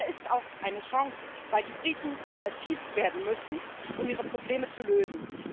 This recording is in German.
Er ist auch eine Chance, weil die Briten kreativ werden müssen, um ihre Probleme zu lösen.